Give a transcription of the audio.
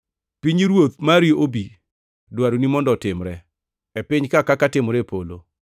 Pinyruoth mari obi, dwaroni mondo otimre e piny kaka timore e polo.